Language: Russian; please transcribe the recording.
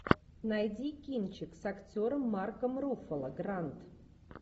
найди кинчик с актером марком руффало гранд